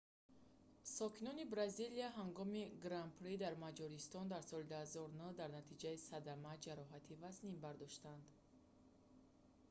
сокини бразилия ҳангоми гран-при дар маҷористон дар соли 2009 дар натиҷаи садама ҷароҳати вазнин бардошт